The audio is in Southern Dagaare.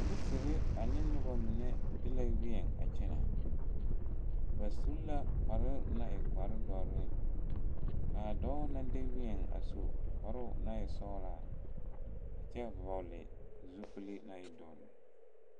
polisiri ane noba mine de la wieŋ a kyɛne, ba su la kpare doɔre ka dɔɔ naŋ de wieŋ su kpare sɔglaa, a kyɛ vɔgeli zupile naŋ e doɔre.